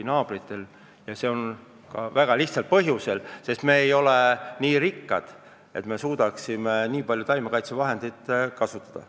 Ja sellel on väga lihtne põhjus: me ei ole nii rikkad, et me suudaksime nii palju taimekaitsevahendeid kasutada.